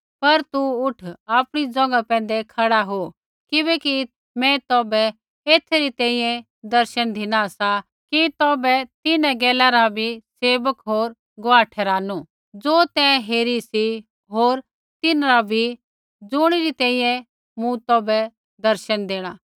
पर तू उठ आपणी ज़ोंघा पैंधै खड़ा हो किबैकि मैं तौभै एथै री तैंईंयैं दर्शन धिना सा कि तौभै तिन्हां गैला रा बी सेवक होर गुआह ठहरानू ज़ो तैं हेरी सी होर तिन्हरा बी ज़ुणी री तैंईंयैं मूँ तौभै दर्शन देणा